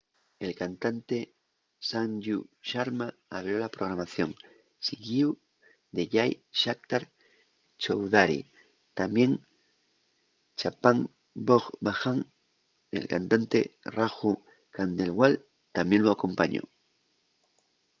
el cantante sanju sharma abrió la programación siguíu de jai shankar choudhary tamién chhappan bhog bhajan el cantante raju khandelwal tamién lu acompañó